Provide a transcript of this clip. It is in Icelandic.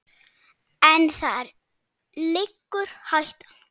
En þar liggur hættan.